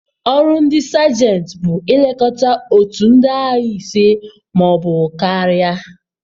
Ọrụ ndị Sajentị bụ ilekọta otu ndị agha ise ma ọ bụ karịa.